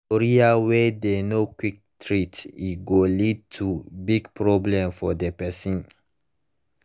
gonorrhea wey dem no quick treat e go lead to big problem for the person